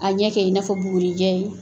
A ɲɛ kɛ i n'a fɔ bugurijɛ ye